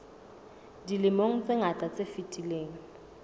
dilemong tse ngata tse fetileng